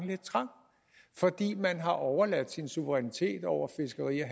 lidt trang fordi man har overladt sin suverænitet over fiskeri og